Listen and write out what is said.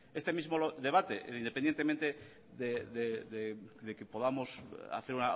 este mismo debate independientemente de que podamos hacer